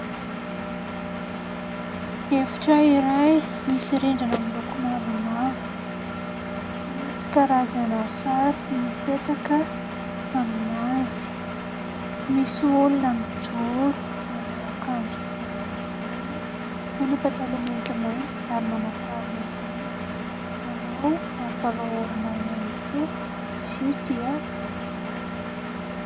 Efitra iray misy rindrana miloko mavomavo. Misy karazana sary mipetaka aminazy. Misy olona mijoro manao akanjo volondavenona, manao pataloha maintimainty ary manao kiraro maintimainty. Manao aro vava orona ihany koa. Izy io dia vehivavy.